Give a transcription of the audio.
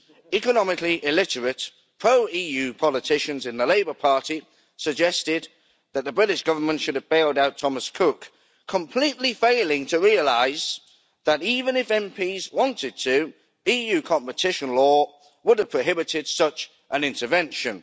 Economically illiterate, pro EU politicians in the Labour party suggested that the British Government should have bailed out Thomas Cook, completely failing to realise that even if MPs had wanted to, EU competition law would have prohibited such an intervention.